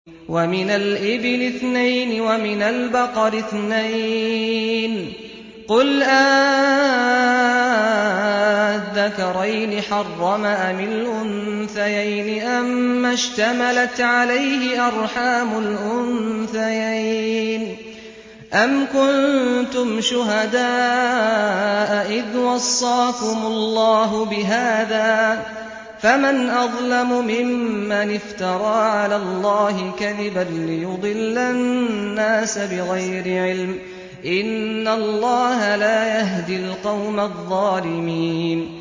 وَمِنَ الْإِبِلِ اثْنَيْنِ وَمِنَ الْبَقَرِ اثْنَيْنِ ۗ قُلْ آلذَّكَرَيْنِ حَرَّمَ أَمِ الْأُنثَيَيْنِ أَمَّا اشْتَمَلَتْ عَلَيْهِ أَرْحَامُ الْأُنثَيَيْنِ ۖ أَمْ كُنتُمْ شُهَدَاءَ إِذْ وَصَّاكُمُ اللَّهُ بِهَٰذَا ۚ فَمَنْ أَظْلَمُ مِمَّنِ افْتَرَىٰ عَلَى اللَّهِ كَذِبًا لِّيُضِلَّ النَّاسَ بِغَيْرِ عِلْمٍ ۗ إِنَّ اللَّهَ لَا يَهْدِي الْقَوْمَ الظَّالِمِينَ